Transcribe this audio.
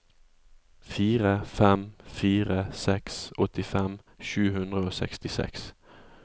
fire fem fire seks åttifem sju hundre og sekstiseks